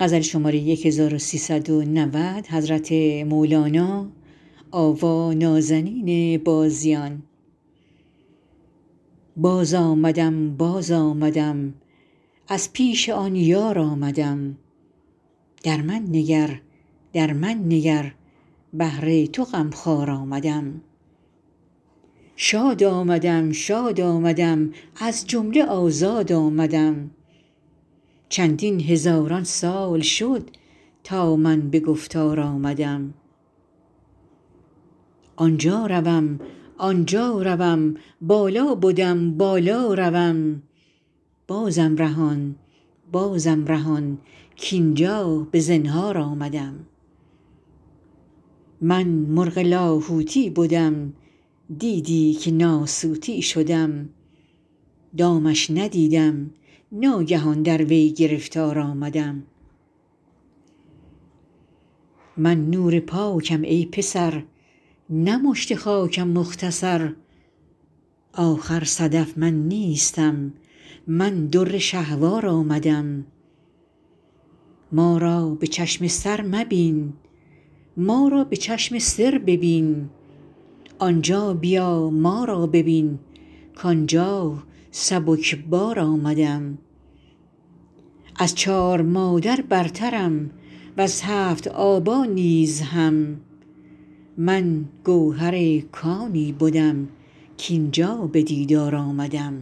باز آمدم باز آمدم از پیش آن یار آمدم در من نگر در من نگر بهر تو غم خوار آمدم شاد آمدم شاد آمدم از جمله آزاد آمدم چندین هزاران سال شد تا من به گفتار آمدم آن جا روم آن جا روم بالا بدم بالا روم بازم رهان بازم رهان کاین جا به زنهار آمدم من مرغ لاهوتی بدم دیدی که ناسوتی شدم دامش ندیدم ناگهان در وی گرفتار آمدم من نور پاکم ای پسر نه مشت خاکم مختصر آخر صدف من نیستم من در شهوار آمدم ما را به چشم سر مبین ما را به چشم سر ببین آن جا بیا ما را ببین کاین جا سبک بار آمدم از چار مادر برترم وز هفت آبا نیز هم من گوهر کانی بدم کاین جا به دیدار آمدم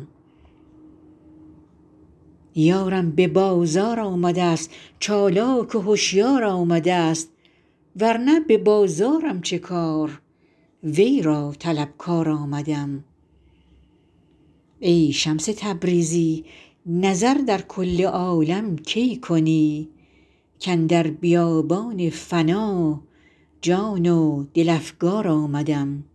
یارم به بازار آمده ست چالاک و هشیار آمده ست ور نه به بازارم چه کار وی را طلبکار آمدم ای شمس تبریزی نظر در کل عالم کی کنی کاندر بیابان فنا جان و دل افگار آمدم